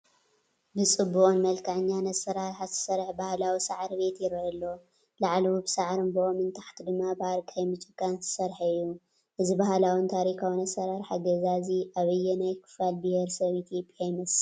ብፅቡቕን መልከዐኛን ኣሰራርሓ ዝተሰርሐ ባህላዊ ሳዕሪ ቤት ይረአ ኣሎ፡፡ ላዕሉ ብሳዕርን ብኦምን፣ ታሕቱ ድማ ብኣርቃይን ብጭቃን ዝተሰርሐ እዩ፡፡ እዚ ባህላውን ታሪካውን ኣሰራርሓ ገዛ እዚ ኣበየናይ ክፋል ብሄር ሰብ ኢ/ያ ይመስል?